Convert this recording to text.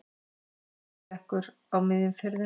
Olíuflekkur á miðjum firðinum